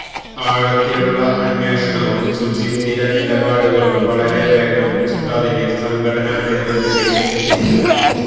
ആഴത്തിലുള്ള അന്വേഷണവും സുചിന്തിര നിലപാടുകളും വളരെ വേഗം ഉസ്താദിനെ സംഘടനാ നേതൃനിരയില് എത്തിച്ചു